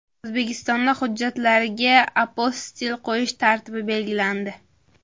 O‘zbekistonda hujjatlarga apostil qo‘yish tartibi belgilandi.